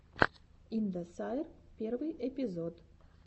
индосайр первый эпизод